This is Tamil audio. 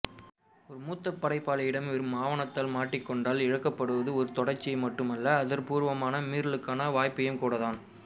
ஒரு மூத்த படைப்பாளியிடம் வெறும் ஆணவத்தால் முட்டிக்கொண்டால் இழக்கப்படுவது ஒரு தொடர்ச்சியை மட்டுமல்ல அர்த்தபூர்வமான மீறலுக்கான வாய்ப்பையும்கூடத்தான்